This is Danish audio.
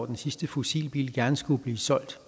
den sidste fossilbil gerne skulle blive solgt